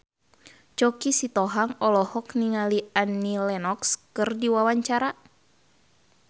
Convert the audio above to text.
Choky Sitohang olohok ningali Annie Lenox keur diwawancara